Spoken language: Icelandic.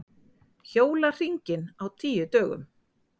Hjóla hringinn á tíu dögum